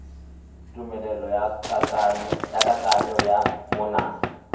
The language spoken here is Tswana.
tumelelo ya kananyo ya manane